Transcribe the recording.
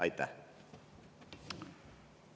Aitäh!